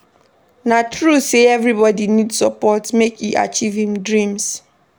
Na true sey everybodi need support make e achieve im dreams.